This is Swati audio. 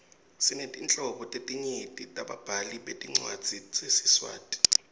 sinetinhlobo letinyenti tebabhali betincwadzi tesiswati